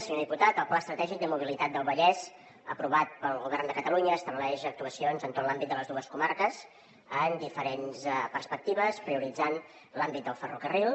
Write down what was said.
senyor diputat el pla estratègic de mobilitat del vallès aprovat pel govern de catalunya estableix actuacions en tot l’àmbit de les dues comarques en diferents perspectives prioritzant l’àmbit del ferrocarril